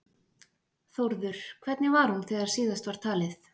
Þórður, hvernig var hún þegar síðast var talið?